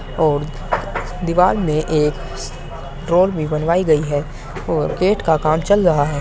और दीवार में एक ड्रॉर भी बनवायी गयी है और गेट का काम चल रहा है।